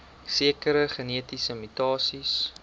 sekere genetiese mutasies